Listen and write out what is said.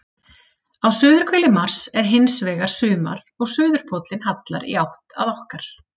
Á suðurhveli Mars er hins vegar sumar og suðurpóllinn hallar í átt að okkar.